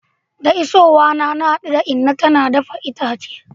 Da isowa na, na hadu da inna tana dafa itace.